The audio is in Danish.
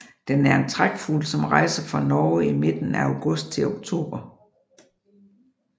Den er en trækfugl som rejser fra Norge i midten af august til oktober